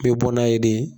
N bɛ bɔ n'a ye de